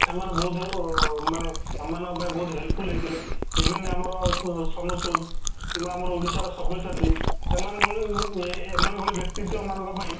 ସେମାନେ ବହୁତ ବଡ ଓ ମାନେ ଆମ ମାନଙ୍କ ପାଇଁ ବହୁତ ବଡ helpful ହେଇଥିଲେ even ଆମର ସୋନୁ ସୁଦ କିମ୍ବା ଅମା ଓଡିଶା ର ସବ୍ୟସାଚୀ ଏମାନେ କ'ଣ କି ଏଁ ଏମାନଙ୍କ ଭଳି ବ୍ୟକ୍ତିତ୍ୱ ଙ୍କ ପାଇଁ